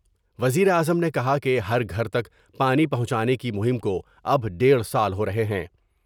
وزیر اعظم نے کہا کہ ہر گھر تک پانی پہونچانے کی مہم کو اب ڈیڑھ سال ہورہے ہیں ۔